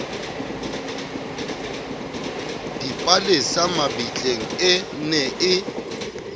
dipalesa mabitleng e ne e